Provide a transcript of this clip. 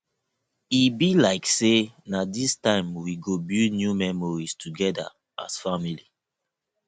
e be like sey na dis time we go build new memories togeda as family